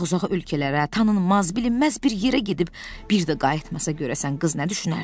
Uzaq-uzaq ölkələrə, tanınmaz, bilinməz bir yerə gedib bir də qayıtmasa görəsən qız nə düşünərdi?